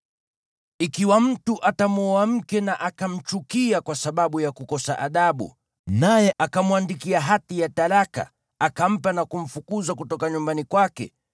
Ikiwa mtu atamwoa mke na akamchukia kwa sababu ya kukosa adabu, naye akamwandikia hati ya talaka, akampa na kumfukuza kutoka nyumbani kwake,